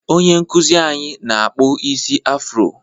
Onye nkụzị anyị na-akpụ isi afro.